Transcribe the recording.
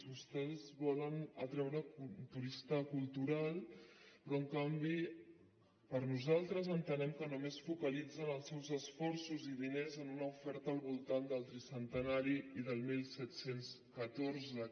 vostès volen atreure turista cultural però en canvi nosaltres entenem que només focalitzen els seus esforços i diners en una oferta al voltant del tricentenari i del disset deu quatre